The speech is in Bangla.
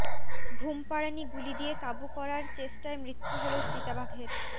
ঘুমপাড়ানি গুলি দিয়ে কাবু করার চেষ্টায় মৃত্য়ু হল চিতাবাঘের